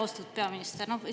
Austatud peaminister!